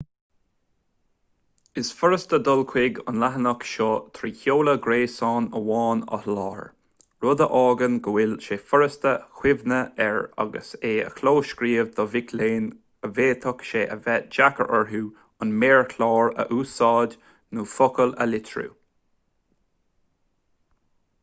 is furasta dul chuig an leathanach seo trí sheoladh gréasáin amháin a sholáthar rud a fhágann go bhfuil sé furasta cuimhneamh air agus é a chlóscríobh do mhic léinn a bhféadfadh sé a bheith deacair orthu an méarchlár a úsáid nó focail a litriú